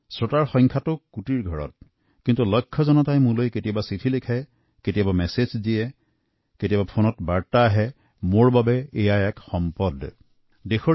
শ্ৰোতাৰ সংখ্যা বহু কোটি আৰু লক্ষাধিক লোকে কেতিয়াবা চিঠি যোগেদি কেতিয়াবা মেছেজ পঠিয়াই বা ফোনৰ্ দ্বাৰা যোগাযোগ কৰে যিসকলে বাৰ্তা প্ৰেৰণ কৰাটোৱেই মোৰ বাবে এক পৰম প্ৰাপ্তি আৰু দুৰ্লভ সম্পদ